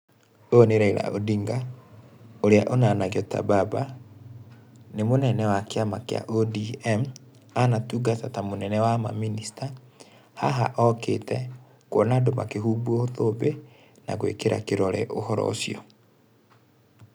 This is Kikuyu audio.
Ũyũ nĩ Raila Odinga, ũrĩa ũnanagio ta baba. Nĩ mũnene wa kĩama kĩa ODM, anatungata ta mũnene wa mamĩnĩsta. Haha okĩte kuona andũ makĩhumbwo thũmbĩ, na gwĩkĩra kĩrore ũhoro ũcio